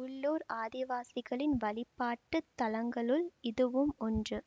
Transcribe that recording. உள்ளூர் ஆதிவாசிகளின் வழிபாட்டு தலங்களுள் இதுவும் ஒன்று